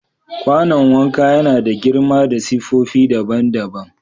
Kwanon wanka ya na da girma da siffofi daban-daban.